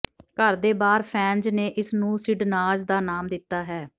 ਘਰ ਦੇ ਬਾਹਰ ਫੈਨਜ਼ ਨੇ ਇਸ ਨੂੰ ਸਿਡਨਾਜ਼ ਦਾ ਨਾਮ ਦਿੱਤਾ ਹੈ